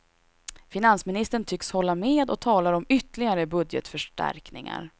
Finansministern tycks hålla med och talar om ytterligare budgetförstärkningar.